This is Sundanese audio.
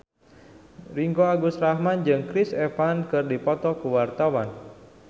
Ringgo Agus Rahman jeung Chris Evans keur dipoto ku wartawan